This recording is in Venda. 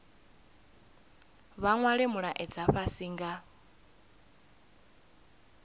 vha nwale mulaedza fhasi nga